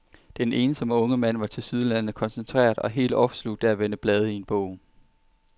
Den ensomme unge mand var tilsyneladende koncentreret og helt opslugt af at vende blade i en bog.